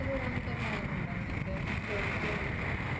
പുറത്തുപോകാനൊക്കെ plan ഉണ്ടോ നിങ്ങൾക്ക് ജോലിക്ക് വേണ്ടിയിട്ട്